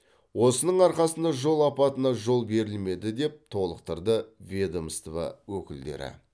осының арқасында жол апатына жол берілмеді деп толықтырды ведомства өкілдері